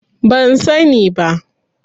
Ban sani ba.